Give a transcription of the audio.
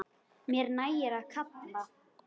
Mér nægir að kalla.